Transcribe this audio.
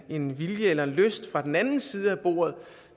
en vilje eller en lyst fra den anden side af bordet